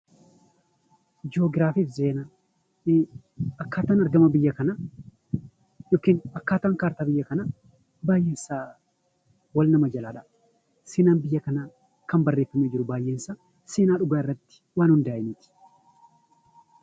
Joogiraafiif seenaa; akkaataan argama biyya kanaa yookiin akkaataan kaartaa biyya kanaa baayyeensaa wal nama jalaa dhaya. Seenaan biyya kanaa kan barreeffamee jiru baayyeesaa Seenaa dhugaarrattii .